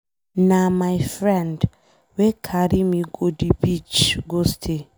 Na my friend wey carry me go the beach go stay.